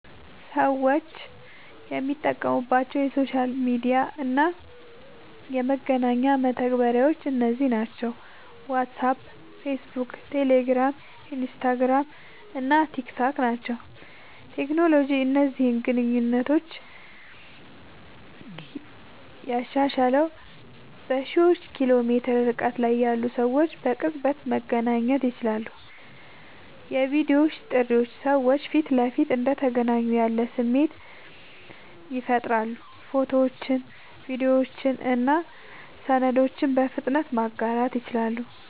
ሰዎች የሚጠቀሙባቸው የሶሻል ሚዲያ እና የመገናኛ መተግበሪያዎች እነዚህ ናቸው፦ ዋትስአፕ፣ ፌስቡክ፣ ቴሌግራም፣ ኢንስታግራም እና ቲክታክ ናቸዉ።.ቴክኖሎጂ እነዚህን ግንኙነቶች ያሻሻለዉ፦ በሺዎች ኪሎ ሜትር ርቀት ላይ ያሉ ሰዎች በቅጽበት መገናኘት ይችላሉ። የቪዲዮ ጥሪዎች ሰዎች ፊት ለፊት እንደተገናኙ ያለ ስሜት ይፈጥራሉ። ፎቶዎችን፣ ቪዲዮዎችን እና ሰነዶችን በፍጥነት ማጋራት ይችላሉ።